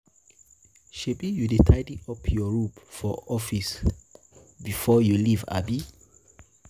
shebi you dey tidy up your room or office before your leave, abi?